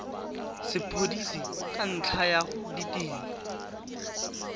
sepodisi ka ntlha ya ditiro